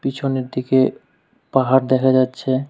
পিছনের দিকে পাহাড় দেখা যাচ্ছে।